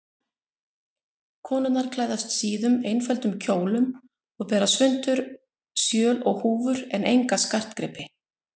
Konurnar klæðast síðum, einföldum kjólum og bera svuntur, sjöl og húfur en enga skartgripi.